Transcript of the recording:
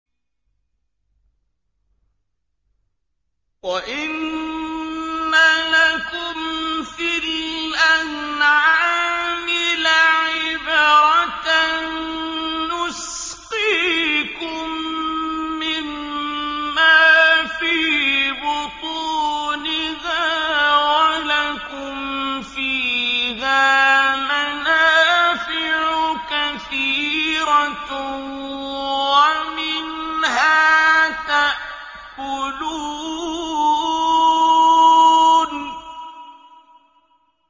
وَإِنَّ لَكُمْ فِي الْأَنْعَامِ لَعِبْرَةً ۖ نُّسْقِيكُم مِّمَّا فِي بُطُونِهَا وَلَكُمْ فِيهَا مَنَافِعُ كَثِيرَةٌ وَمِنْهَا تَأْكُلُونَ